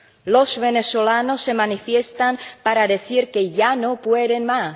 Los venezolanos se manifiestan para decir que ya no pueden más.